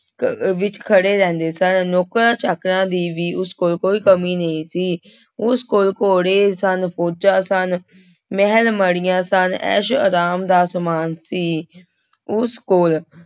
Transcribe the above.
ਕ ਵਿੱਚ ਖੜੇ ਰਹਿੰਦੇ ਸਨ, ਨੌਕਰਾਂ ਚਾਕਰਾਂ ਦੀ ਵੀ ਉਸ ਕੋਲ ਕੋਈ ਕਮੀ ਨਹੀਂ ਸੀ, ਉਸ ਕੋਲ ਘੋੜੇ ਸਨ, ਫ਼ੋਜ਼ਾਂ ਸਨ, ਮਹਿਲ ਮਾੜੀਆਂ ਸਨ ਐਸ ਆਰਾਮ ਦਾ ਸਮਾਨ ਸੀ ਉਸ ਕੋਲ